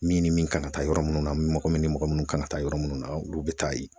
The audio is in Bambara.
Min ni min kan ka taa yɔrɔ munnu na mɔgɔ mun ni mɔgɔ munnu kan ka taa yɔrɔ munnu na olu be taa yen.